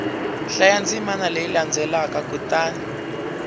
hlaya ndzimana leyi landzelaka kutani